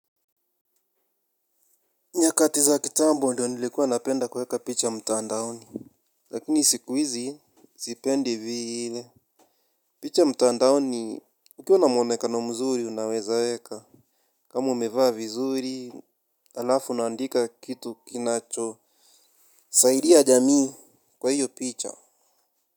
Nyakati za kitambo ndio nilikuwa napenda kuweka picha mtandaoni. Lakini siku hizi, sipendi vile. Picha mtandaoni, ukiwa na mwonekano mzuri unaweza weka. Kama umevaa vizuri, halafu na andika kitu kinacho. Saidia jamii kwa hiyo picha.